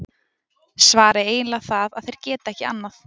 Svarið er eiginlega það að þeir geta ekki annað!